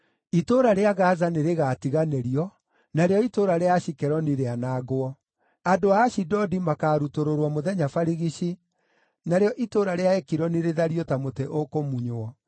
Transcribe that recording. Itũũra rĩa Gaza nĩrĩgatiganĩrio, narĩo itũũra rĩa Ashikeloni rĩanangwo. Andũ a Ashidodi makaarutũrũrwo mũthenya barigici, narĩo itũũra rĩa Ekironi rĩthario ta mũtĩ ũkũmunywo.